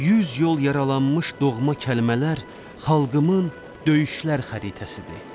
Yüz yol yaralanmış doğma kəlmələr xalqımın döyüşlər xəritəsidir.